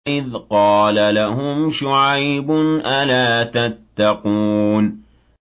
إِذْ قَالَ لَهُمْ شُعَيْبٌ أَلَا تَتَّقُونَ